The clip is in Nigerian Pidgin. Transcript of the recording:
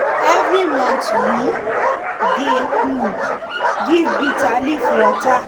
every month we dey um give bitter leaf water.